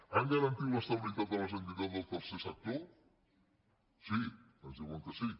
han garantit l’estabilitat de les entitats del tercer sector sí ens diuen que sí